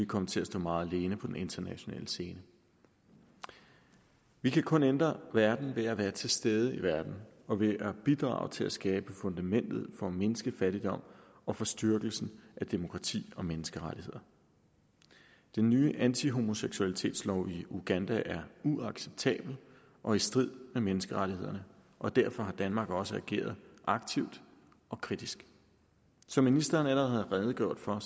komme til at stå meget alene på den internationale scene vi kan kun ændre verden ved at være til stede i verden og ved at bidrage til at skabe fundamentet for at mindske fattigdom og for styrkelsen af demokrati og menneskerettigheder den nye antihomoseksualitetslov i uganda er uacceptabel og i strid med menneskerettighederne og derfor har danmark også ageret aktivt og kritisk som ministeren allerede har redegjort for